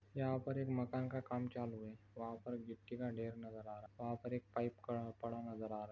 यहाँ पर एक मकान का काम चालू है वहा पर गिट्टी का ढेर नज़र आ रहा वहा पर एक पाइप पड़ा-पड़ा नज़र आ रहा।